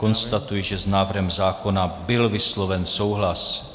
Konstatuji, že s návrhem zákona byl vysloven souhlas.